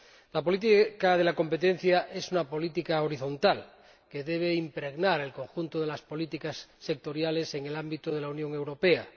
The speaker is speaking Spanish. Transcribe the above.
La política de competencia es una política horizontal, que debe impregnar el conjunto de las políticas sectoriales en el ámbito de la Unión Europea.